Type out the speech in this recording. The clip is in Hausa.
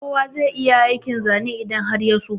Kowa zai iya aikin Zane idan har ya so.